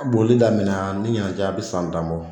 Boli damina ani ɲinan cɛ a bi san tan bɔ